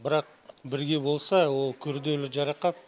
бірақ бірге болса ол күрделі жарақат